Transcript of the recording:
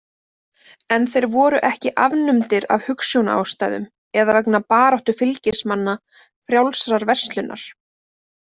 En þeir voru ekki afnumdir af hugsjónaástæðum, eða vegna baráttu fylgismanna „frjálsrar verslunar“.